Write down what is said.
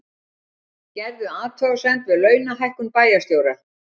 Gerðu athugasemd við launahækkun bæjarstjóra